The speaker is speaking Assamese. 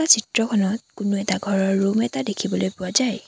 চিত্ৰখনত কোনো এটা ঘৰৰ ৰুম এটা দেখিবলৈ পোৱা যায়।